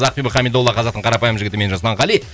ақбибі қамидолла қазақтың қарапайым жігіті мен жасұлан қали